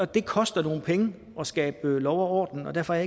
det koster nogle penge at skabe lov og orden og derfor er